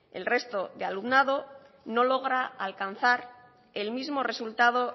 el resto de alumnado no logra alcanzar el mismo resultado